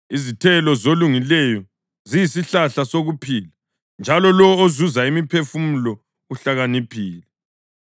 Izithelo zolungileyo ziyisihlahla sokuphila, njalo lowo ozuza imiphefumulo uhlakaniphile.